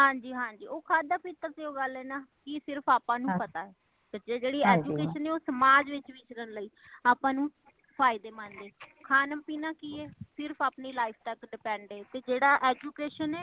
ਹਾਂਜੀ ਹਾਂਜੀ ,ਉਹ ਖਾਦਾਂ ਪੀਤਾ ਉਹ ਗੱਲ ਏ ਨਾ , ਕੀ ਸਿਰਫ ਆਪਾ ਨੂੰ ਪਤਾ ਹੇ , ਤੇ ਜੇੜੀ education ਏ ਉਹ ਸਮਾਜ ਵਿੱਚ ਵਿਕਰਨ ਲਈ ਆਪਾ ਨੂੰ ਫਾਇਦੇ ਮੰਦ ਏ। ਖਾਣਾ ਪੀਨਾ ਕੀ ਏ ਸਿਰਫ ਅਪਣੀ life ਤੱਕ depend ਏ। ਤੇ ਜੇੜਾ education ਏ